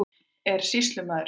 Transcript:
Er sýslumaður hér?